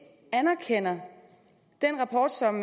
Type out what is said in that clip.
anerkender den rapport som